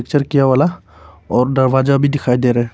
वाला और दरवाजा भी दिखाई दे रहा है।